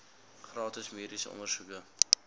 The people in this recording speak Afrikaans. gratis mediese ondersoeke